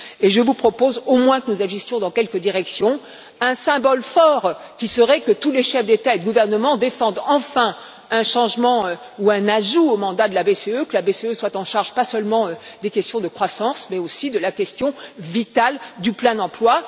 Je vous propose au moins que nous agissions dans quelques directions, un symbole fort qui serait que tous les chefs d'État et de gouvernement défendent enfin un changement ou un ajout au mandat de la BCE, que la BCE soit en charge non seulement des questions de croissance, mais aussi de la question vitale du plein emploi.